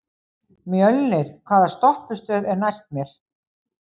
Mjölnir, hvaða stoppistöð er næst mér?